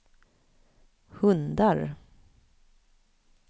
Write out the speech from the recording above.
hundar